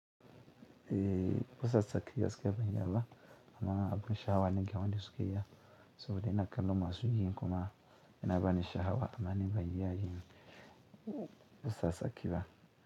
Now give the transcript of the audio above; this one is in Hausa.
Eh, busa tsakiya gaskiya ban iya ba amma abin sha hawa na ga wani suka iya saboda ina kallon masu yin kuma yana bani sha hawa amma ni ban iya yin busa tsaki ba.